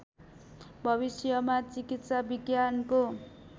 भविष्यमा चिकित्सा विज्ञानको